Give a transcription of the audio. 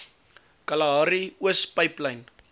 kalahari oos pyplyn